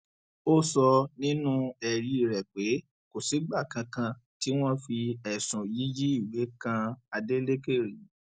ó sọ nínú ẹrí rẹ pé kò sígbà kankan tí wọn fi ẹsùn yíyí ìwé kan adeleke rí